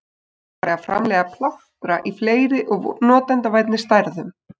Þá var farið að framleiða plástra í fleiri og notendavænni stærðum.